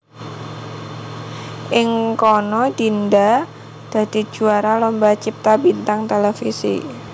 Ing kana Dinda dadi juwara Lomba Cipta Bintang Televisi